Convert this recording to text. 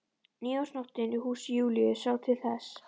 Nýársnóttin í húsi Júlíu sá til þess.